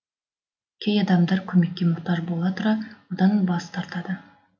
кей адамдар көмекке мұқтаж бола тұра одан бас тартады